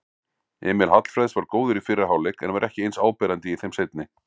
Emil Hallfreðs var góður í fyrri hálfleik en var ekki eins áberandi í þeim seinni.